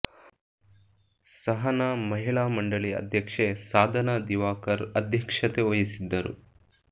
ಸಹನಾ ಮಹಿಳಾ ಮಂಡಳಿ ಅಧ್ಯಕ್ಷೆ ಸಾಧನಾ ದಿವಾಕರ್ ಅಧ್ಯಕ್ಷತೆ ವಹಿಸಿದ್ದರು